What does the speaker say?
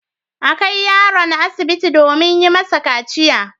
A kai yaron asibiti domin yi masa kaciya.